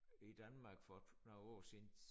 I Danmark for et par år siden